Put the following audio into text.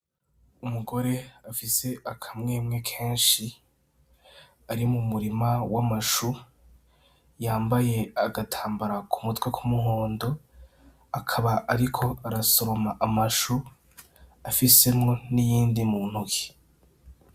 Umugore afise akamwemwe kenshi ari mu murima w'amashu yambaye agatambara ku mutwe kumuhondo , akaba ariko arasoroma amashu afisemwo n'iyindi mu ntoke .